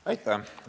Aitäh!